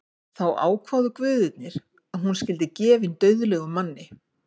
Þá ákváðu guðirnir að hún skyldi gefin dauðlegum manni.